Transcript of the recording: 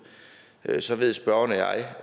så ved spørgeren